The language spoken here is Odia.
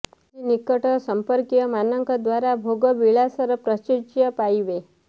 ଆଜି ନିକଟ ସମ୍ପର୍କୀୟମାନଙ୍କ ଦ୍ୱାରା ଭୋଗ ବିଳାସର ପ୍ରାଚୁର୍ଯ୍ୟ ପାଇବେ